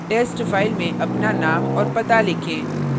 test file में अपना name और पता लिखें